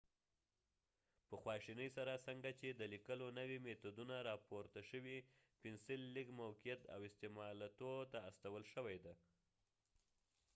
په خواشینۍ سره څنګه چې د لیکلو نوي میتودونه راپورته شوي پنسل لږ موقعیت او استعمالاتو ته استول شوی دی